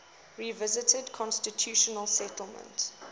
revised constitutional settlement